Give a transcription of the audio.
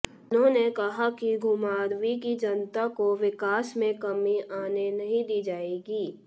उन्होंने कहा कि घुमारवीं की जनता को विकास में कमी आने नहीं दी जाएगी